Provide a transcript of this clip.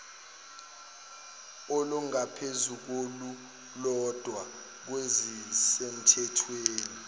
olungaphezu kolulodwa kwezisemthethweni